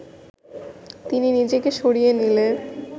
তিনি নিজেকে সরিয়ে নিলে